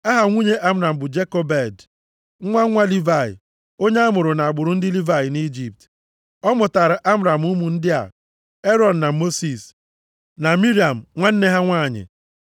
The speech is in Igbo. Aha nwunye Amram bụ Jekobed, nwa nwa Livayị, onye a mụrụ nʼagbụrụ ndị Livayị nʼIjipt. Ọ mụtaara Amram ụmụ ndị a: Erọn na Mosis, na Miriam, nwanne ha nwanyị.